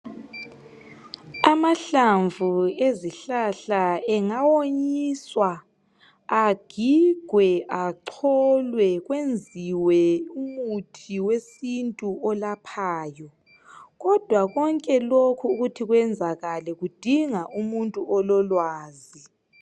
Amahlamvu ezihlahla engawonyiswa, agigwe, acholwe kwenziwe umuthi wesintu olaphaya. Kodwa konke lokhu ukuthi kwenzakale kudinga umuntu ololwazi.